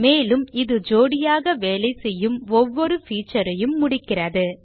மேலும் இது ஜோடியாக வேலைசெய்யும் ஒவ்வொரு feature ஐயும் முடிக்கிறது